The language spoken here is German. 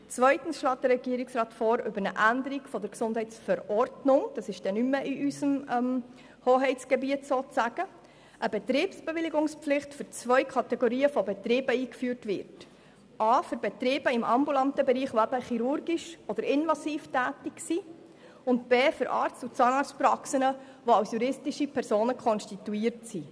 Zweitens schlägt er in der GesV eine Betriebsbewilligungspflicht für zwei Betriebskategorien vor: erstens für Betriebe im ambulanten Bereich, die chirurgisch oder invasiv tätig sind, und zweitens für Arzt- und Zahnarztpraxen, die als juristische Personen konstituiert sind.